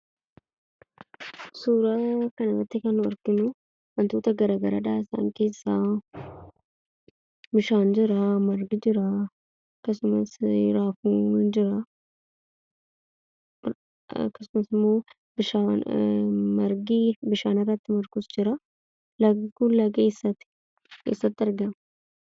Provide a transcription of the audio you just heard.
Suura kana irratti kan nuti arginu wantoota garagaraadha. Isaan keessa bishaan Jira, margi jira akkasumas raafuun jira. Akkasumallee margi bishaan irratti margee jira. Lagni Kun eessatti argama?